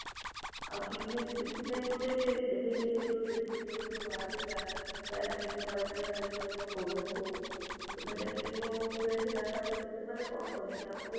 ଆଉ ଚୀନରେ ସେଠି ପାଇଁ ଗୋଟେ ଏବଂ ହେଇ ଯାଇଛି disease ଯୋଉଠୁ ବାହାରୁଥିଲା ପ୍ରାୟ ଚୀନରୁ ବହାରୀଥିଲେ ଯୋଉ ଆମ COVID ହଉ ତ ସେଟା ଚୀନ ରୁ spread ହେଲା ନା, ସେମାନେ କଣ କଲେ?